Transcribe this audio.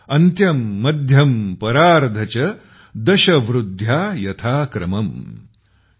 अन्त्यं मध्यं परार्ध च दश वृद्ध्या यथा क्रमम् ।।